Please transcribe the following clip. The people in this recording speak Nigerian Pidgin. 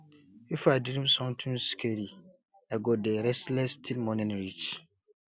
if i dream something scary i go dey restless till morning reach